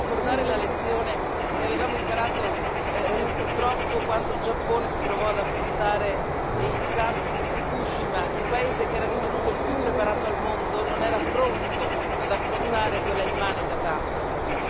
Io vorrei ricordare la lezione che avevamo imparato purtroppo quando il Giappone si trovò ad affrontare il disastro di Fukushima il paese che era ritenuto il più preparato al mondo, non era pronto ad affrontare quella immane catastrofe.